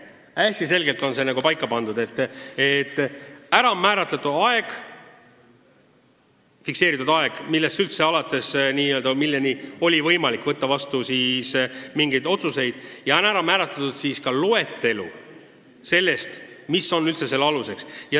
Kõik on hästi selge: on määratletud fikseeritud kuupäev, milleni oli võimalik teatud otsuseid teha, ja on määratletud ka kriteeriumide loetelu, mis on skeemi kuulumise aluseks.